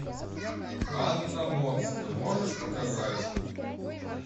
анна монстр можешь показать